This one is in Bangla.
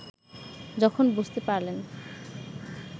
যখন বুঝতে পারলেন